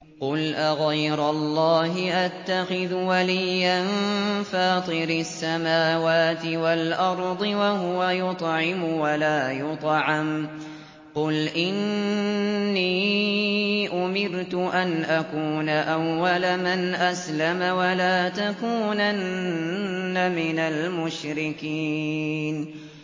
قُلْ أَغَيْرَ اللَّهِ أَتَّخِذُ وَلِيًّا فَاطِرِ السَّمَاوَاتِ وَالْأَرْضِ وَهُوَ يُطْعِمُ وَلَا يُطْعَمُ ۗ قُلْ إِنِّي أُمِرْتُ أَنْ أَكُونَ أَوَّلَ مَنْ أَسْلَمَ ۖ وَلَا تَكُونَنَّ مِنَ الْمُشْرِكِينَ